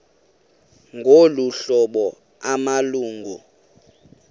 ngolu hlobo amalungu